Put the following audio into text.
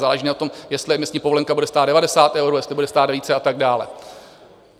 Záleží na tom, jestli emisní povolenka bude stát 90 euro, jestli bude stát více a tak dále.